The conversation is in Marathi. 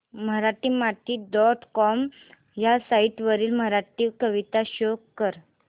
मराठीमाती डॉट कॉम ह्या साइट वरील मराठी कविता शो कर